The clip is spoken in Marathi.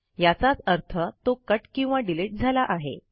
याचाच अर्थ तो कट किंवा डिलिट झाला आहे